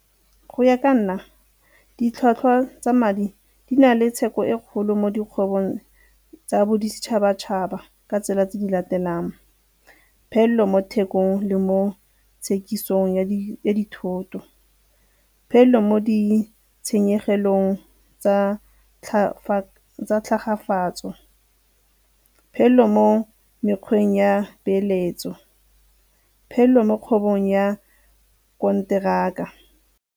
Go ya ka nna, ditlhwatlhwa tsa madi di na le tsheko e kgolo mo dikgwebong tsa boditšhabatšhaba ka tsela tse di latelang, phelelo mo thekong le mo tshekisong ya dithoto, phelelo mo ditshenyegelong tsa tlhagafatso, phelelo mo mekgweng ya peeletso, phelelo mo kgwebong ya konteraka.